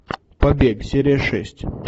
побег серия шесть